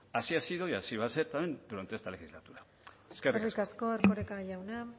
así ha sido y así va a ser también durante esta legislatura eskerrik asko eskerrik asko erkoreka jauna